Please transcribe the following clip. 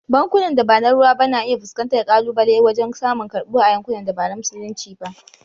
Bankunan da ba na ruwa ba na iya fuskantar kalubale wajen samun karbuwa a yankunan da ba na Musulunci ba.